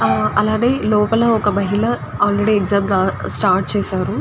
అలాగే లోపల ఒక మహిళ ఆల్రడీ ఎగ్జామ్ స్టార్ట్ చేశారు.